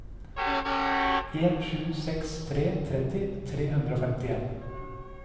en sju seks tre tretti tre hundre og femtifem